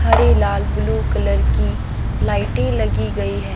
हरे लाल blue colour की लाइटे लगी गई है।